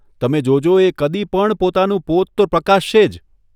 તમે જોજો એ કદી પણ પોતાનું પોત તો પ્રકાશશે જ !